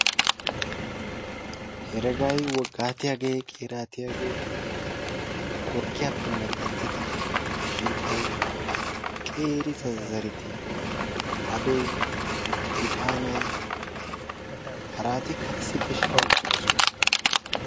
Heregaay, woogatiyaagee, qeeratiyaagee qorkkiyaappe medhdhettida shiidhdhay qeeri zazzareti aadoy, iixaanay haaratikka issippe shiiqqidi uttidosona.